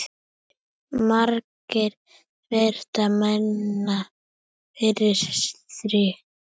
Margrét virti mennina fyrir sér.